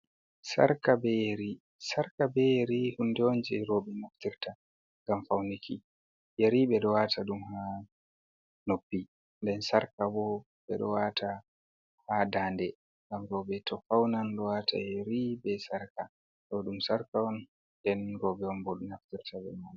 Sarka be yeri. Sarka be yeri hunde on jei rowɓe naftirta ngam fauniki. Yeri ɓe ɗo waata ɗum haa noppi. Nden sarka bo ɓe ɗo waata ha dande, ngam rowɓe to faunan ɗo waata yeri be sarka. Ɗo ɗum sarka on, nden rowɓe on bo ɗo naftirta be mai.